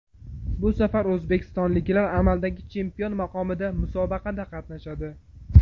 Bu safar o‘zbekistonliklar amaldagi chempion maqomida musobaqada qatnashadi.